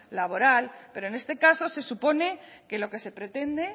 laboral pero en este caso se supone que lo que se pretende